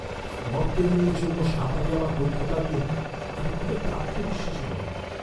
স্নর্কেলিংয়ের জন্য সাঁতারে আমার দক্ষতা নিয়ে আমি খুব একটা আত্মবিশ্বাসী নই।